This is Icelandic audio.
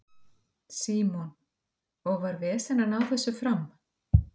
Símon: Og var þetta vesen að ná þessu fram?